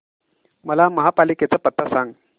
मला महापालिकेचा पत्ता सांग